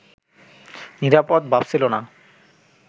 নিরাপদ ভাবছিল না